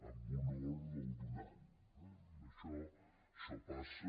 en honor del donant eh això passa